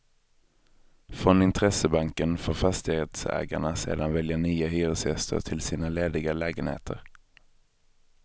Från intressebanken får fastighetsägarna sedan välja nya hyresgäster till sina lediga lägenheter.